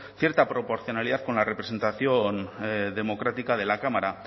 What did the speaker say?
cierta proporcionalidad con la representación democrática de la cámara